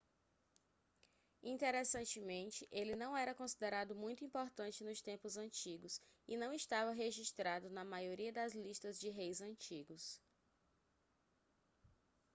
interessantemente ele não era considerado muito importante nos tempos antigos e não estava registrado na maioria das listas de reis antigos